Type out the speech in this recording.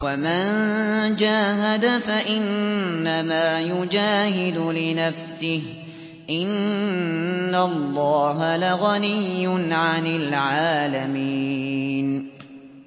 وَمَن جَاهَدَ فَإِنَّمَا يُجَاهِدُ لِنَفْسِهِ ۚ إِنَّ اللَّهَ لَغَنِيٌّ عَنِ الْعَالَمِينَ